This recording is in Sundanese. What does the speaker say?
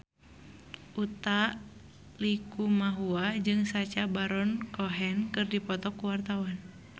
Utha Likumahua jeung Sacha Baron Cohen keur dipoto ku wartawan